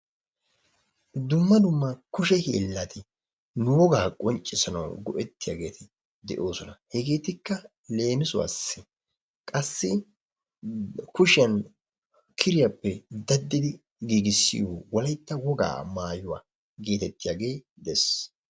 dumma dumma kushe hiillati nu wogaa qonccisanawu go"ettiyaageti de"oosona. hegetikka leemisuwaasi qassi kushiyaan kiriyaappe daaddi giigisiyoo wollaytta wogaa mayuwaa gettettiyaagee de'ees.